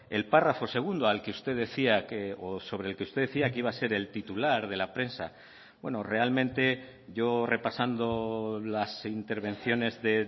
el párrafo segundo al que usted decía o sobre el que usted decía que iba a ser el titular de la prensa bueno realmente yo repasando las intervenciones de